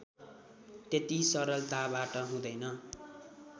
त्यति सरलताबाट हुँदैन